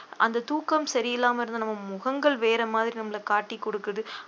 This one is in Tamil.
அந்த தூக்கம் சரியில்லாம இருந்த நம்ம முகங்கள் வேற மாதிரி நம்மளை காட்டிக் கொடுக்குது